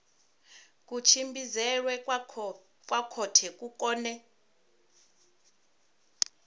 kutshimbidzelwe kwa khothe ku kone